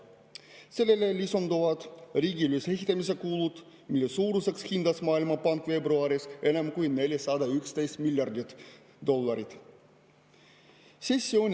Sellele lisanduvad riigi ülesehitamise kulud, mille suuruseks hindas Maailmapank veebruaris enam kui 411 miljardit dollarit.